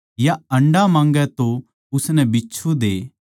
या अंडा माँगै तो उसनै बिच्छु दे